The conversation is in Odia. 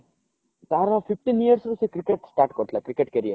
ତାର fifteen years ରୁ ସେ କ୍ରିକେଟ start କରିଥିଲା କ୍ରିକେଟ career